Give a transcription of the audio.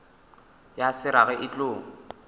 ya se rage e tlo